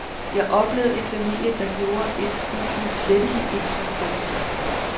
Jeg oplevede en familie, der gjorde et uudsletteligt indtryk på mig.